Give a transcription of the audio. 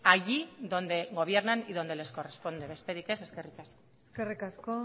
allí donde gobiernan y donde les corresponde besterik ez eskerrik asko eskerrik asko